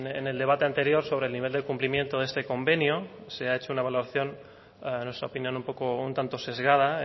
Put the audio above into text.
en el debate anterior sobre el nivel del cumplimiento de este convenio se ha hecho una evaluación a nuestra opinión un tanto sesgada